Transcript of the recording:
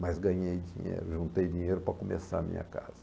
Mas ganhei dinheiro, juntei dinheiro para começar a minha casa.